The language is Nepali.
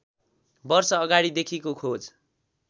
वर्ष अगाडिदेखिको खोज